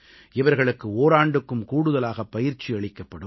இவர்களுக்கு ஓராண்டுக்கும் கூடுதலாக பயிற்சி அளிக்கப்படும்